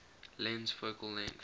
lens focal length